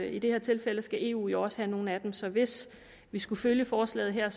i det her tilfælde skal eu jo også have nogle af dem så hvis vi skulle følge forslaget her